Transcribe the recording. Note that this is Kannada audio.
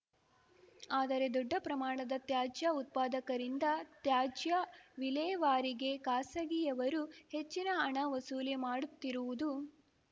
ಆದರೆ ದೊಡ್ಡ ಪ್ರಮಾಣದ ತ್ಯಾಜ್ಯ ಉತ್ಪಾದಕರಿಂದ ತ್ಯಾಜ್ಯ ವಿಲೇವಾರಿಗೆ ಖಾಸಗಿಯವರು ಹೆಚ್ಚಿನ ಹಣ ವಸೂಲಿ ಮಾಡುತ್ತಿರುವುದು